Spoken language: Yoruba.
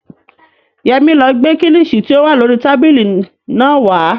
Yẹmí ló gbé kílìṣí tí ó wà lórii tábìlì náà wá